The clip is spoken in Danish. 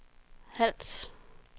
Hals